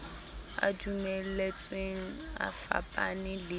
e dumeletsweng e fapane le